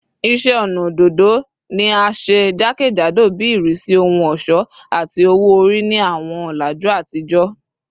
Iṣẹ ọnà ododo ni a ṣe jakejado bi irisi ohun ọṣọ ati owo-ori ni awọn ọlaju atijọ